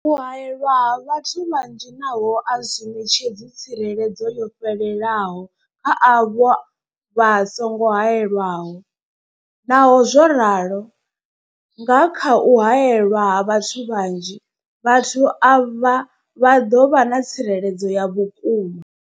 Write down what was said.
U haelwa ha vhathu vhanzhi nazwo a zwi ṋetshedzi tsireledzo yo fhelelaho kha avho vha songo haelwaho, Naho zwo ralo, nga kha u haelwa ha vhathu vhanzhi, vhathu avha vha ḓo vha na tsireledzo ya vhukuma.